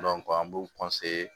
an b'u